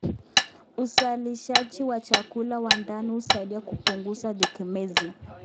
Uzalishaji wa chakula wa ndani husaidia kupunguza utegemezi.